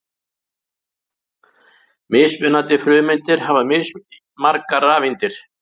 Mismunandi frumeindir hafa mismargar rafeindir.